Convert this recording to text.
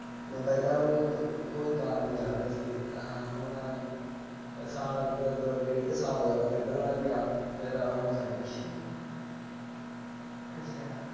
ਮੈ ਪਹਿਲਾ ਉਹਨੂੰ ਕੋਈ ਗਾਲ ਨਹੀਂ ਕੱਢਦਾ ਸੀ ਹਾਂ ਹੁਣ ਸਾਲ ਡੇਢ ਕ ਸਾਲ ਹੋਗਿਆ ਮੈਂ ਕੱਢਣ ਲੱਗ ਪਿਆ ਫਿਰ ਹੁਣ ਛੱਡਗੀ